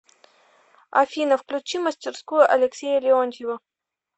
афина включи мастерскую алексея леонтьева